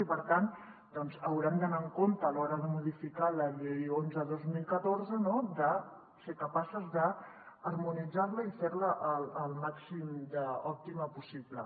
i per tant doncs haurem d’anar amb compte a l’hora de modificar la llei onze dos mil catorze de ser capaces d’harmonitzar la i fer la al màxim d’òptima possible